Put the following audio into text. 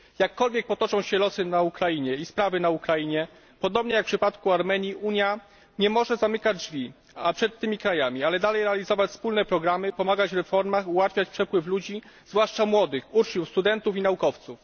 Jakkolwiek potoczą się losy na Ukrainie i sprawy na Ukrainie podobnie jak w przypadku Armenii Unia nie może zamykać drzwi przed tymi krajami, ale dalej realizować wspólne programy, pomagać w reformach, ułatwiać przepływ ludzi, zwłaszcza młodych uczniów, studentów i naukowców.